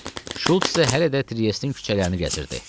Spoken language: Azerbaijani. Şults isə hələ də Triestin küçələrini gəzirdi.